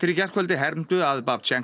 í gærkvöldi hermdu að